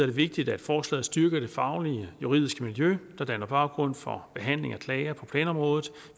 det vigtigt at forslaget styrker det faglige juridiske miljø der danner baggrund for behandling af klager på planområdet